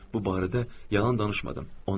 Bu barədə yalan danışmadım.